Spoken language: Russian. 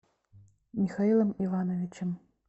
михаилом ивановичем